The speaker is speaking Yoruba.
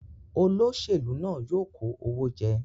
Oloṣelu náà yoo kò òwò jẹ